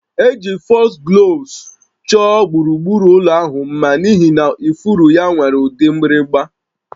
Eji Foxgloves chọọ gburugburu ụlọ ahụ mma n'ihi na ifuru ya nwere ụdị mgbịrịgba